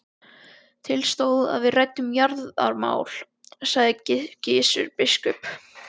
Til stóð að við ræddum jarðamál, sagði Gizur biskup.